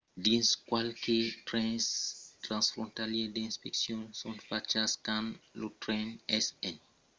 dins qualques trens transfrontalièrs d'inspeccions son fachas quand lo tren es en marcha e deuriatz aver un document d'identitat valid amb vos quand montatz dins un d’aqueles trens